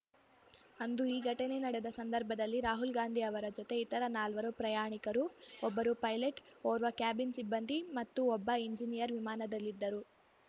ಅಂದು ಈ ಘಟನೆ ನಡೆದ ಸಂದರ್ಭದಲ್ಲಿ ರಾಹುಲ್‌ ಗಾಂಧಿ ಅವರ ಜೊತೆ ಇತರ ನಾಲ್ವರು ಪ್ರಯಾಣಿಕರು ಒಬ್ಬರು ಪೈಲಟ್‌ ಓರ್ವ ಕ್ಯಾಬಿನ್‌ ಸಿಬ್ಬಂದಿ ಮತ್ತು ಒಬ್ಬ ಎಂಜಿನಿಯರ್‌ ವಿಮಾನದಲ್ಲಿದ್ದರು